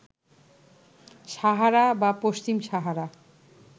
সাহারা বা পশ্চিম সাহারা